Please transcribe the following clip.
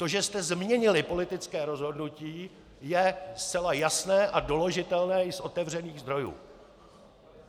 To, že jste změnili politické rozhodnutí, je zcela jasné a doložitelné i z otevřených zdrojů.